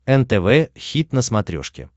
нтв хит на смотрешке